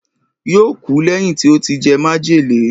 yóò kú lẹ́yìn tí ó ti jẹ májèlé